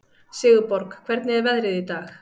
Sigurborg, hvernig er veðrið í dag?